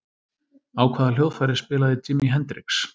Á hvaða hljóðfæri spilaði Jimi Hendrix?